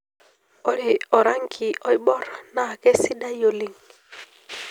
Ore orangi iborr naa keisidai oleng.